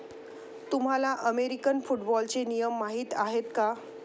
तुम्हाला अमेरिकन फुटबॉलचे नियम माहीत आहेत का?